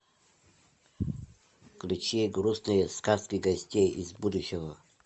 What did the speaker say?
включи грустные сказки гостей из будущего